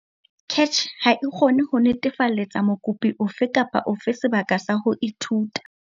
CACH ha e kgone ho netefalletsa mokopi ofe kapa ofe sebaka sa ho ithuta.